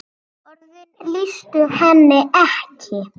Orðin lýstu henni ekki.